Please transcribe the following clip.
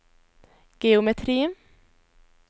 geometri